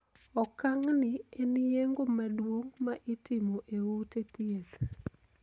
Okang' ni en yeng'o maduong' ma itimo e ute thieth.